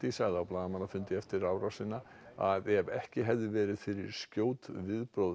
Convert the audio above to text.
sagði á blaðamannafundi eftir árásina að ef ekki hefði verið fyrir skjót viðbrögð